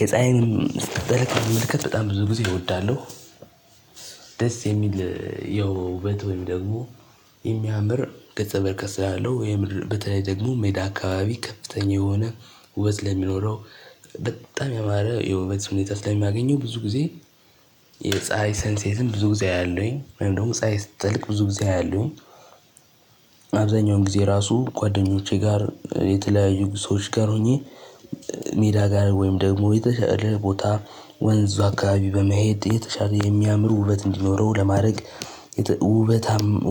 የፀሀይን ስትጠልቅ መመልከት በጣም ብዙ ጊዜ እወዳለሁ። ደስ የሚል ያው ውበት ወይም ደግሞ የሚያምር ገጸ በረከት ስላለው የምድር በተለይ ደግሞ ሜዳ አካባቢ ከፍተኛ የሆነ ውበት ስለሚኖረው በጣም ያማረ የውበት ሁኔታ ለሚያገኘው ብዙ ጊዜ የፀሀይ ሰንሴትን ብዙ ጊዜ አያለሁኝ እንደውም ፀሀይ ስትጠልቅ ብዙ ጊዜ አያለሁኝ። አብዛኛውን ጊዜ ራሱ ጓደኞቼ ጋር የተለያዩ ሰዎች ጋር ሆኜ ሜዳ ጋር ወይም ደግሞ የተሻለ ቦታ ወንዙ አካባቢ በመሄድ የተሻለ የሚያምር ውበት እንዲኖረው ለማድረግ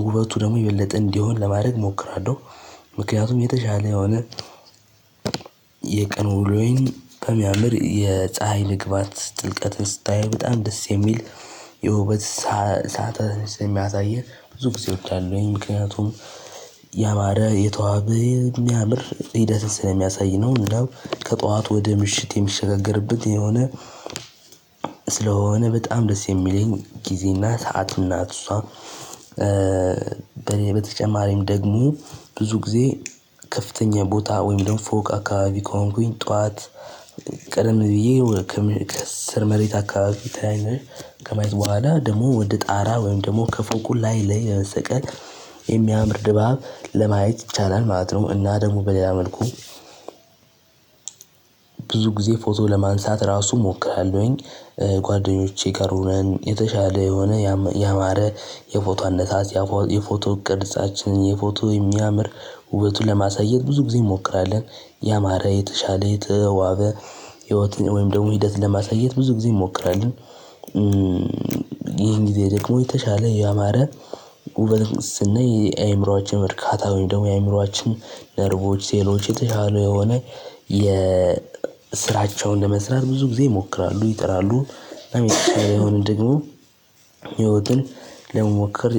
ውበቱ ደግሞ የበለጠ እንዲሆን ለማድረግ እሞክራለሁ። ምክንያቱም የተሻለ የሆነ የቀኑ ውሎዬን በሚያምር የፀሀይ መግባት ጥልቀትን ስታየው በጣም ደስ የሚል የውበት ሰዓታትን ስለሚያሳየን ብዙ ጊዜዎች አሉ ወይም ምክንያቱም ያማረ የተዋበ የሚያምር ሂደትን ስለሚያሳይ ነው። እንደው ከጠዋት ወደ ምሽት የሚሸጋገርበት የሆነ ስለሆነ በጣም ደስ የሚለኝ ጊዜና ሰዓት ናት እሷ። በኔ በተጨማሪም ደግሞ ብዙ ጊዜ ከፍተኛ ቦታ ወይም ደግሞ ፎቅ አካባቢ ከሆንኩኝ ጠዋት ቀደም ብዬ ከስር መሬት አካባቢ ተያይነ ከማየት በኋላ ደግሞ ወደ ጣራ ወይም ደግሞ ከፎቁ ላይ ለመሰቀል የሚያምር ድባብ ለማየት ይቻላል ማለት ነው። እና ደግሞ በሌላ መልኩ ብዙ ጊዜ ፎቶ ለማንሳት ራሱ እሞክራለሁኝ። ጓደኞቼ ጋራ ሆነን የተሻለ የሆነ ያማረ የፎቶ አነሳስ የፎቶ ቅርጻችንን የፎቶ የሚያምር ውበቱን ለማሳየት ብዙ ጊዜ እንሞክራለን ያማረ የተሻለ የተዋበ ህይወትን ወይም ደግሞ ሂደት ለማሳየት ብዙ ጊዜ እንሞክራለን። ይሄን ጊዜ ደግሞ የተሻለ ያማረ ውበትን ስናይ የአእምሮአችን እርካታ ወይም ደግሞ የአይምሮአችን ነርቮች ሴሎች የተሻሉ የሆነ የ ስራቸውን ለመስራት ብዙ ጊዜ ይሞክራሉ ይጥራሉ። የሆነ ደግሞ ህይወትን ለመሞክር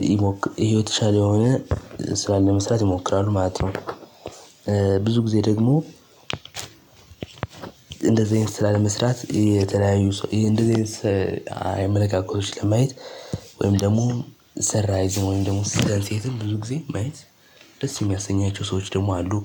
የተሻለ የሆነ ስራን ለመስራት ይሞክራል ማለት ነው። ብዙ ጊዜ ደግሞ እንደዚህ አይነት ስራ ለመስራት የተለያዩ ሰው ይሄ እንደዚህ አይነት አመለካከቶች ለማየት ወይም ደግሞ ሰንራይዝም ወይም ደግሞ ስደሴትንም ብዙ ጊዜ ማየት ደስ የሚያሰኛቸው ሰዎች ደግሞ አሉ